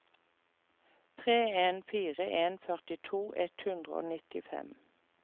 tre en fire en førtito ett hundre og nittifem